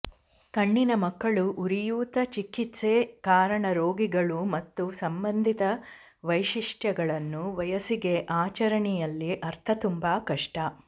ಕಣ್ಣಿನ ಮಕ್ಕಳು ಉರಿಯೂತ ಚಿಕಿತ್ಸೆ ಕಾರಣ ರೋಗಿಗಳು ಮತ್ತು ಸಂಬಂಧಿತ ವೈಶಿಷ್ಟ್ಯಗಳನ್ನು ವಯಸ್ಸಿಗೆ ಆಚರಣೆಯಲ್ಲಿ ಅರ್ಥ ತುಂಬಾ ಕಷ್ಟ